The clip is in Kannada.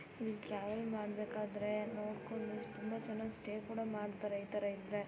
ಟ್ರಾವೆಲ್ ಮಾಡ್ಬೇಕಾದ್ರೆ ನೋಡ್ಕೊಂಡು ತುಂಬಾ ಜನ ಸ್ಟೇ ಕೂಡ ಮಾಡ್ತಾರೆ ಇತರ ಇದ್ರೆ.